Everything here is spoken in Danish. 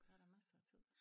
Der da massere af tid